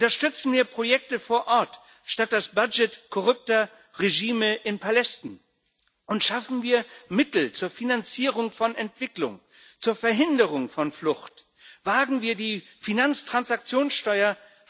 Unterstützen wir Projekte vor Ort statt das Budget korrupter Regime in Palästen, und schaffen wir Mittel zur Finanzierung von Entwicklung, zur Verhinderung von Flucht! Wagen wir die Finanztransaktionssteuer!